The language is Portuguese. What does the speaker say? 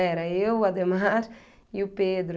Era eu, o Adhemar e o Pedro.